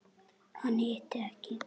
Hann hitti ekki.